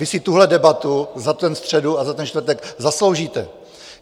Vy si tuhle debatu za tu středu a za ten čtvrtek zasloužíte.